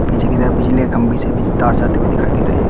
पीछे की तरफ बिजली के खम्बे से बि तार जाते हुए दिखाई दे रहे हैं।